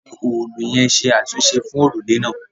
A fi òòlù yẹn ṣe àtúnṣe fún òrùlé náà